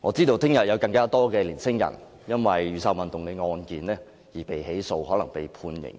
我知道明天會有更多年輕人因為雨傘運動的案件而被起訴，亦可能被判刑，